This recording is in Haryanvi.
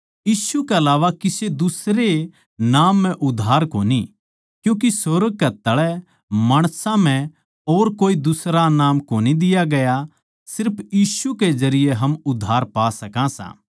यीशु के अलावा किसे दुसरे नाम म्ह उद्धार कोनी क्यूँके सुर्ग कै तळै माणसां म्ह और कोए दुसरा नाम कोनी दिया गया सिर्फ यीशु के जरिये हम उद्धार पा सकां